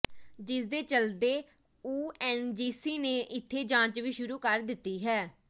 ਜਿਸ ਦੇ ਚਲਦੇ ਓਐਨਜੀਸੀ ਨੇ ਇੱਥੇ ਜਾਂਚ ਵੀ ਸ਼ੁਰੂ ਕਰ ਦਿੱਤੀ ਹੈ